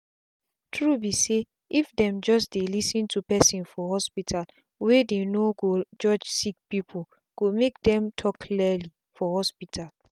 true be sayif them just dey lis ten to person for hospitalwey dey no go judge sick peoplee go make dem talk clearly for hospital.